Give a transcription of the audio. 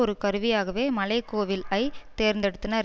ஒரு கருவியாகவே மலை கோவில் ஐ தேர்ந்தெடுத்தனர்